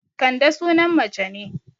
Kande sunan mace ne